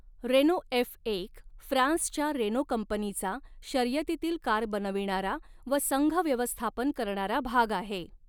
Reno एफएक फ्रांसच्या Renault कंपनीचा शर्यतीतील कार बनविणारा व संघव्यवस्थापन करणारा भाग आहे.